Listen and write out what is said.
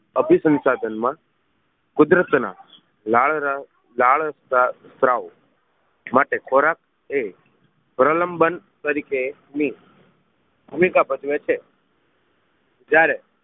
અભિ સંસાધન માં બાળ બાળ સ્તતાવ માટે ખોરાક એ પ્રલનબંન તરીકે ની ભૂમિકા ભજવે છે જ્યારે